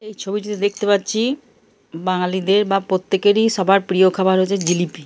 এই ছবিটিতে দেখতে পাচ্ছি বাঙালিদের বা প্রত্যেকের প্রিয় খাবার হচ্ছে জিলিপি ।